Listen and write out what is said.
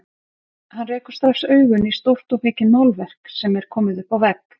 Hann rekur strax augun í stórt og mikið málverk sem er komið upp á vegg.